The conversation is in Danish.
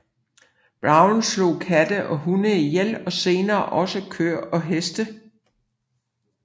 Brown slog katte og hunde ihjel og senere også køer og heste